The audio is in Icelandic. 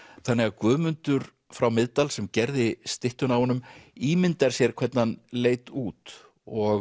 þannig að Guðmundur frá Miðdal sem gerði styttuna af honum ímyndar sér hvernig hann leit út og